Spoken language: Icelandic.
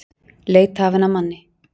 Leit hafin að manni